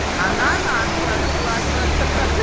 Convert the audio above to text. она наша ха-ха ладно ха-ха